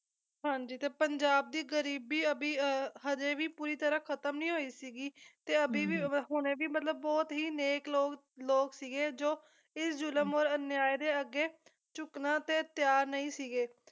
ਹਾਂਜੀ ਤੇ ਪੰਜਾਬ ਦੀ ਗਰੀਬੀ ਅਭੀ ਅਹ ਹਜੇ ਵੀ ਪੂਰੀ ਤਰਾਂ ਖਤਮ ਨਹੀਂ ਹੋਈ ਸੀਗੀ, ਤੇ ਅਭੀ ਵੀ ਹੁਣੇ ਵੀ ਮਤਲਬ ਬਹੁਤ ਹੀ ਨੇਕ ਲੋਕ ਲੋਕ ਸੀਗੇ ਜੋ ਇਸ ਜ਼ੁਲਮ ਔਰ ਅਨਿਆਏ ਦੇ ਅੱਗੇ ਝੁਕਣ ਲਈ ਤਿਆਰ ਨਹੀਂ ਸੀਗੇ